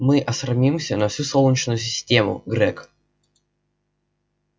мы осрамимся на всю солнечную систему грэг